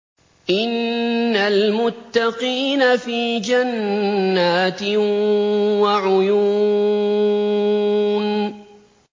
إِنَّ الْمُتَّقِينَ فِي جَنَّاتٍ وَعُيُونٍ